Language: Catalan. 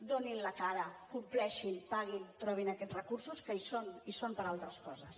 donin la cara compleixin paguin trobin aquests recursos que hi són i hi són per a altres coses